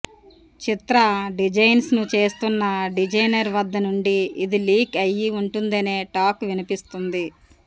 చిత్ర డిజైన్స్ను చేస్తున్న డిజైనర్ వద్ద నుండి ఇది లీక్ అయ్యి ఉంటుందనే టాక్ వినిపస్తుంది